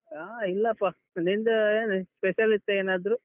ಆ ಇಲ್ಲಪ್ಪ, ನಿಂದು ಏನು, special ಇತ್ತ ಏನಾದ್ರೂ?